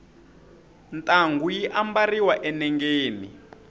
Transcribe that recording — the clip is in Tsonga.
ntangu yi ambariwa enengeni